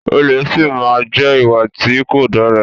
Olè si máa má jẹ́ ìwà tí kò dára.